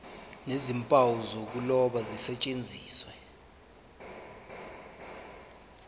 nezimpawu zokuloba zisetshenziswe